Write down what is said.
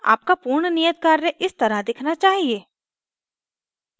आपका पूर्ण नियत कार्य इस तरह दिखना चाहिए